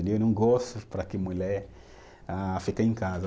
Não gosta para que mulher ah, fique em casa.